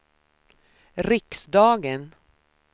riksdagen